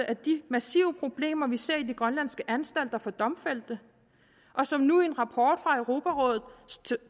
af de massive problemer vi ser i de grønlandske anstalter for domfældte og som nu i en rapport fra europarådets